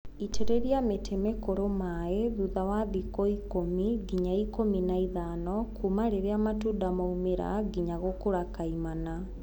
itĩrĩria mĩtĩ mĩkũrũ maĩ thutha wa thikũ ikũmi nginya ikũmi na ithano kuma rĩrĩa matunda maumĩra nginya nginya gũkũra kaimana.